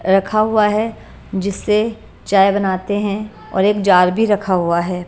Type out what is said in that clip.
रखा हुआ है जिससे चाय बनाते हैं एक जार भी रखा हुआ है।